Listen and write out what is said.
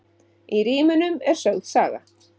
Í rímunum er sögð saga.